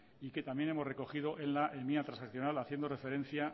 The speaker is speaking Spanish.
y que también hemos recogido en la enmienda transaccional haciendo referencia